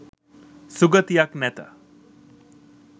සුගතියක් නැත.